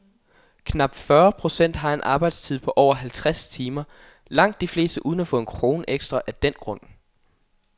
Knap fyrre procent har en arbejdstid på over halvtreds timer, langt de fleste uden at få en krone ekstra af den grund.